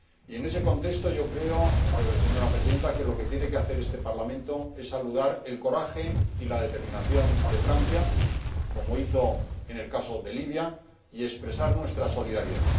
En ese contexto, yo creo, señora Presidenta, que lo que tiene que hacer este Parlamento es saludar el coraje y la determinación de Francia, como hizo en el caso de Libia, y expresar nuestra solidaridad.